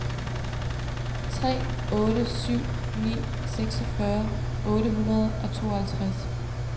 tre otte syv ni seksogfyrre otte hundrede og tooghalvtreds